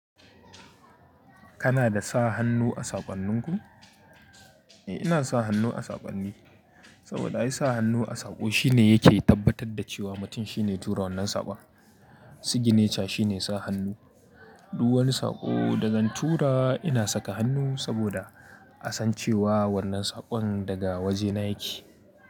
Kana da sa hannu a saƙonnin ku? Ina sa hannu a saƙonni, saboda ai sa hannu a saƙo shine yake tabbatar da cewa mutum shine tura wannan saƙon. Signature shine sa hannu. Duk wani saƙo da zan tura ina saka hannu saboda a san cewa wannan saƙon daga wajena yake.